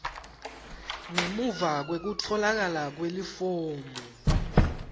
ngemuva kwekutfolakala kwelifomu